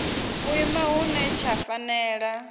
u ima hune tsha fanela